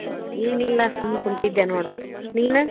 ಏನಿಲ್ಲಾ ಸುಮ್ ಕುಂತಿದ್ದೆ ನೋಡ್ ನೀನ.